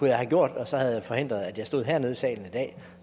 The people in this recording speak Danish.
jeg have gjort og så havde jeg forhindret at jeg stod hernede i salen i dag